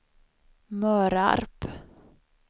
Mörarp